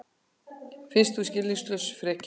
Finnst hún skilningslaus frekja.